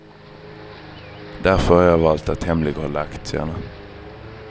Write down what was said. Därför har jag valt att hemlighålla aktierna.